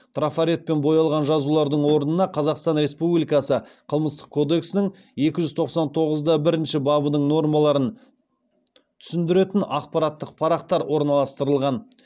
трафаретпен боялған жазулардың орнына қазақстан республикасы қылмыстық кодексінің екі жүз тоқсан тоғыз да бір бабының нормаларын түсіндіретін ақпараттық парақтар орналастырылған